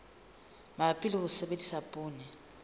mabapi le ho sebedisa poone